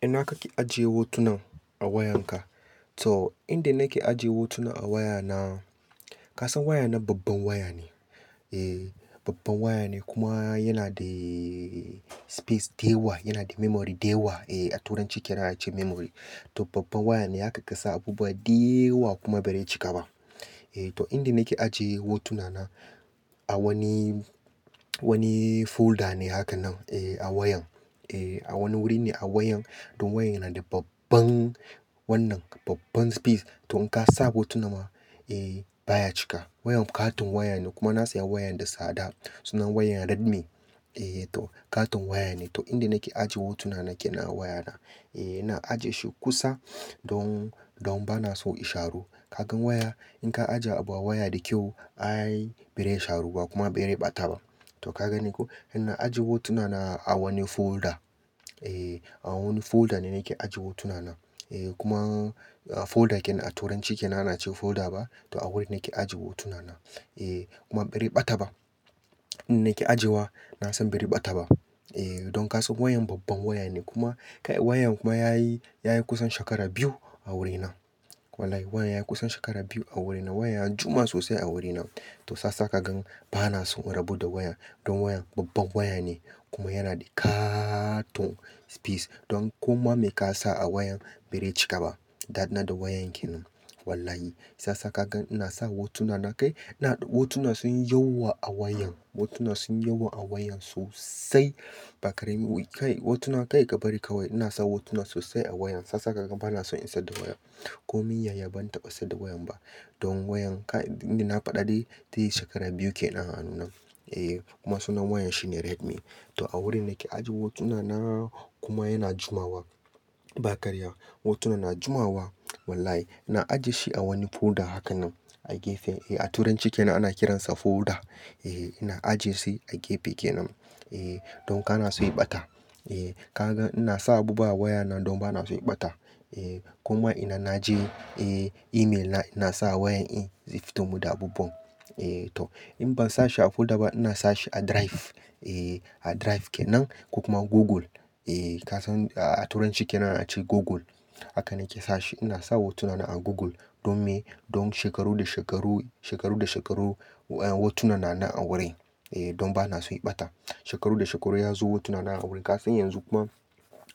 Ina kake ajiye hotunan a wayanka? To, inda nake ajiye hotuna a wayana, kasan wayana babban waya ne. Ehh, babban waya ne kuma yana da space da yawa, yana da memory da yawa. Eh turanci ke nan ace memory. To babban waya ne, haka kasa abubuwa da yawa kuma ba zai cika ba. Eh to, inda nake ajiye hotuna na a wani, wani folder ne haka nan. Eh a wayan. Eh, a wani wuri ne a wayan. Don wayan yana da babban wannan, babban space. To in ka sa hotuna ma, eh baya cika. Wayan katon waya ne kuma na saya wayan da tsada. Sunan wayan Redmi. Eh to katon waya ne. To inda nake ajiye hotuna na kenan a wayana. Eh, ina ajiye shi kusa don, don bana so ya sharu. Ka gan waya in ka ajiye abu a waya da kyau ai ba zai sharu ba kuma ba zai ɓata ba. To ka gan ni ko? Ina ajiye hotuna na a wani folder. E, a wani folder ne nake ajiye hotuna na. Eh kuma folder kenan a turanci ke nan ana ce folder ba? To a wurin nake ajiye hotuna na. E kuma bai rage ɓata ba. Inda nake ajiyewa, na san ba zai ɓata ba. Eh, don kasan wayan babban waya ne, kuma kai wayan kuma yayi, yayi kusan shekara biyu a wurina. Wallahi wayan yayi kusan shekara biyu a wurina. Wayan ya jima sosai a wurina. To sasa ka gan bana son in rabu da wayan. Don wayan babban waya ne kuma yana da katon space. Don kuma me ka sa a wayan ba re cika ba. Dadi na da wayan kenan, wallahi. Sasa kagan ina sa hotuna na kai. Ina da hotuna sun yi yawa a wayan. Hotuna sun yauwa a waya sosai. Bakari muyi kai. Hotuna kai ka bari kawai. Ina sa hotuna sosai a wayan. Sasa kaga bana son in saida wayan. Komin yayi ban taɓa saida wayan ba. Don wayan kai, inda na faɗa dai deyi shekara biyu ke nan a hannu na. Eh kuma sunan wayan shi ne Redmi. To a wurin nake ajiye hotuna na kuma yana jimawa. Bakarya. Hotuna na jimawa. Wallahi. Ina ajiye shi a wani folder hakan nan, a gefe. Eh a turanci ke nan, ana kiransa folder. Eh ina ajiye su a gefe kenan. Eh don kana so ya ɓata. E ka gan ina sa abubuwa a waya nan don bana so ya ɓata. Eh kuma inan naje eh, email na ina sa wayan in, zai fito mun da abubuwan. Eh toh in ban sa shi a folder ba ina sa shi a drive. E a drive kenan ko kuma Google. Eh kasan a turanci ke nan ana ce Google. Haka nake sa shi. Ina sa hotuna a Google don me? Don shekaru da shekaru, shekaru da shekaru hotuna na nan a wurin. Eh don bana so ya ɓata. Shekaru da shekaru in ya zo hotuna na a wurin. Kasan yanzu kuma,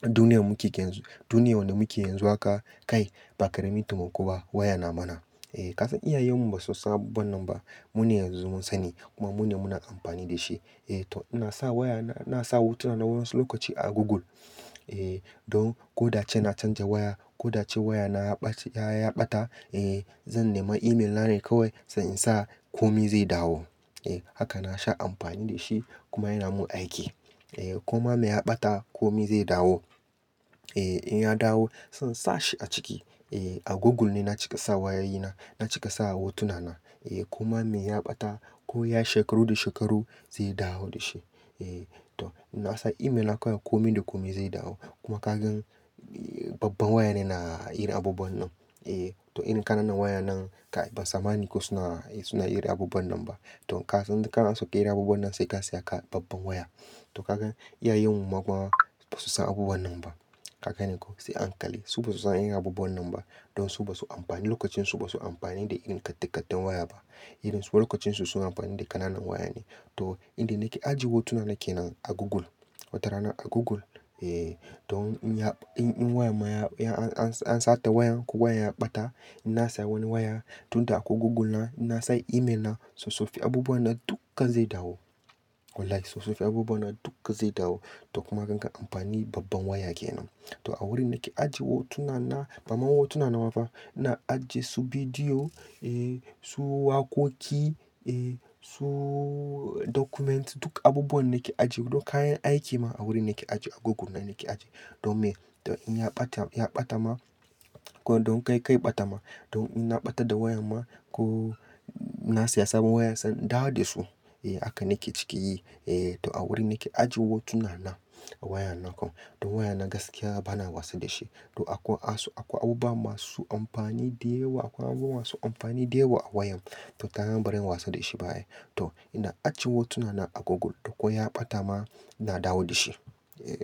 duniyar muke yanzu, duniyar wanda muke yanzu haka kai ba karamin taimako ba wayan na mana. Eh kasan iyayen mu ba su san abubuwan nan ba. Mune yanzu mun sani, kuma mune muna amfani da shi. E to ina sa wayan, ina sa hotuna na wasu lokaci a Google. Eh don ko da ace na canza waya, ko da ace wayana ya bace, ya ɓata, eh zan nema email na ne kawai sai in sa, komi zai dawo. Eh haka na sha amfani da shi, kuma yana mun aiki. Eh koma me ya ɓata, komi zai dawo. E in ya dawo zan sa shi a ciki. Eh a Google ne na cika sa wayayina, na cika sa hotuna na. Eh koma me ya ɓata, ko ya shekaru da shekaru zai dawo da shi. Eh, toh inna sa email na kawai komi da komi zai dawo. Kuma ka gan eh babban waya ne na yin abubuwan nan. Eh toh irin kananan waya nan kai ban sammani ko suna, suna yin abubuwan nan ba. Don kasan idan kana so irin abubuwan nan sai ka saya ka babban waya. Toh ka gan iyayen mu ma kuwa ba su san abubuwan nan ba. Ka gane ko? Sai a hankali. Su ba su san irin abubuwan nan ba. Don su ba su amfani, lokacin su ba su amfani da irin kattikatten waya ba. Irin su lokacin su suna amfani da kananan waya ne. To inda nake ajiye hotuna nake nan a Google. Wata rana a Google. Eh to in ya, in wayan ma ya, an sata wayan ko wayan ya ɓata inna saya wani waya, tun da akwai Google na inna san email na, sosoffi abubuwan nan dukkan zai dawo. Wallahi sossofin abubuwan nan dukka zai dawo. Toh kuma kanka amfani babban waya kenan. To a wurin nake ajiye hotuna na, bama hotuna nama ba. Ina ajiye su bidiyo, eh su wakoki, eh su dokument. Duk abubuwan nake ajiye. Duk kayan aiki ma a wurin nake ajiye. A Google ne nake ajiye. Don me? Don in ya ɓata, ya ɓata ma ko don kai, kai ɓata ma. Don in na ɓata da wayan ma, ko na saya sabon waya sai in dawo da su. Eh haka nake ciki yi. Eh to a wurin nike ajiye hotuna na a wayan nan kuwa. Don wayan na gaskiya bana wasa da shi. To akwai asu, akwai abubuwa masu amfani da yawa. Akwai abubuwa masu amfani dayawa a wayan. To ta gan ba ran yi wasa da shi ba ne. Toh ina ajiye hotuna na a Google. To ko ya ɓata ma ina dawo da shi. Eh.